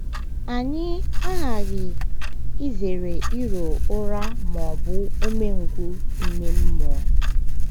Anyị aghaghị izere iro ụra ma ọ bụ umengwụ ime mmụọ.